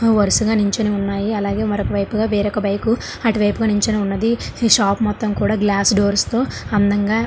వరుసగా నించునే ఉన్నాయి. అలాగే మరొకవైపు గా వేరొక బైకు అటువైపు కూడా నుంచొని ఉన్న ఈ షాపు మొత్తము గ్లాస్ర్ డోర్స్ తో అందంగా ఫిక్స్ చేయబడి ఉంది.